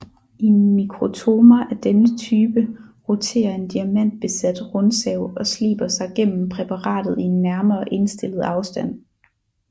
I mikrotomer af denne type roterer en diamantbesat rundsav og sliber sig gennem præparatet i en nærmere indstillet afstand